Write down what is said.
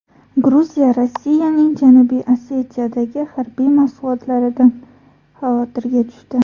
Gruziya Rossiyaning Janubiy Osetiyadagi harbiy mashg‘ulotlaridan xavotirga tushdi.